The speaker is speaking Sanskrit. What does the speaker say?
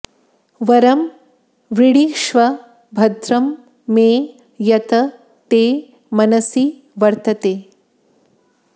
वरं वृणीष्व भद्रं मे यत् ते मनसि वर्तते